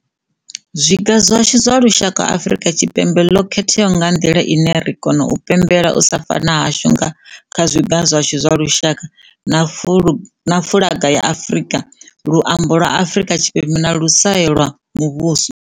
Zwiga zwashu zwa lushaka Afrika Tshipembe ḽo khethea nga nḓila ine ri kona u pembelela u sa fana hashu nga kha Zwiga zwashu zwa Lushaka na fuḽaga ya Lushaka, Luimbo lwa Afrika Tshipembe na Luswayo lwa Muvhuso.